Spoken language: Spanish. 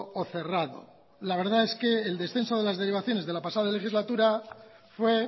o cerrado la verdad es que el descenso de las derivaciones de la pasada legislatura fue